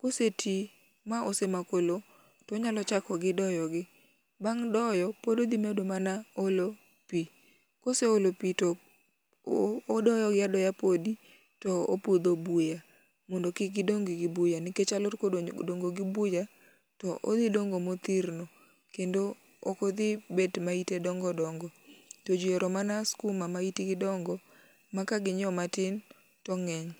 Kosetii ma osemako lowo tonyalo chako gi doyo gi, bang' doyo pod odhi mana olo pii . Koseolo pii to odoyo gi adoya podi to opudho buya mondo kik gidong gi buya nikech ka alot odongo gi buya to odhi dongo mothirno kendo ok odhi bet ma ite dongo dongo to jii ohero mana skuma ma itgi dongo maka ginyiewo matin to ng'eny.